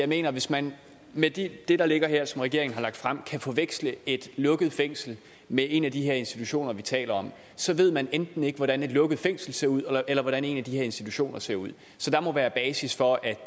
mener at hvis mand med det ligger her som regeringen har lagt frem kan forveksle et lukket fængsel med en af de her institutioner vi taler om så ved man enten ikke hvordan et lukket fængsel ser ud eller hvordan en af de her institutioner ser ud så der må være basis for at